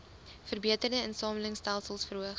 verbeterde insamelingstelsels verhoog